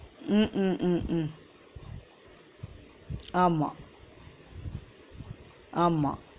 உம் உம் உம் உம் ஆமா ஆமா